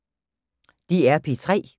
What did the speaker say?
DR P3